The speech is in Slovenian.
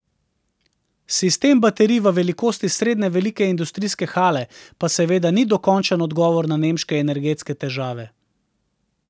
Sistem baterij v velikosti srednje velike industrijske hale pa seveda ni dokončen odgovor na nemške energetske težave.